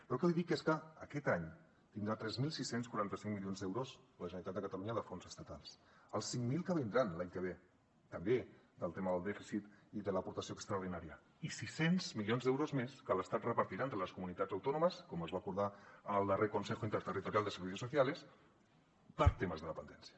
però el que li dic és que aquest any tindrà tres mil sis cents i quaranta cinc milions d’euros la generalitat de catalunya de fons estatals els cinc mil que vindran l’any que ve també del tema del dèficit i de l’aportació extraordinària i sis cents milions d’euros més que l’estat repartirà entre les comunitats autònomes com es va acordar en el darrer consejo interterritorial de servicios sociales per a temes de dependència